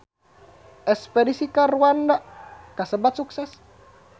Espedisi ka Rwanda kasebat sukses